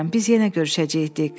Biz yenə görüşəcəyik, Dik.